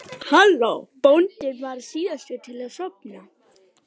Bóndinn varð síðastur til að sofna.